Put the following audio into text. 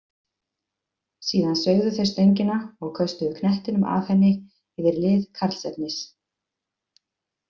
Síðan sveigðu þeir stöngina og köstuðu knettinum af henni yfir lið Karlsefnis.